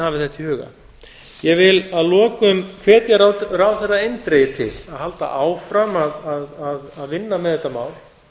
þetta í huga ég vil að lokum hvetja ráðherra eindregið til að halda áfram að vinna með þetta mál